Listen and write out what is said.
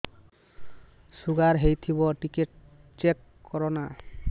sugar ହେଇଥିବ ଟିକେ check କର ନା